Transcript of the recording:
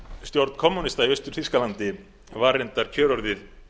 stjórn kommúnista í austur þýskalandi var reyndar kjörorðið